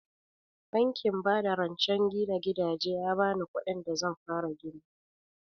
Bankin ba da rancen gina gidaje ya bani kuɗin da zan fara gini